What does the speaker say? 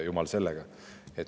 Jumal sellega.